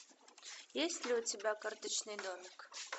есть ли у тебя карточный домик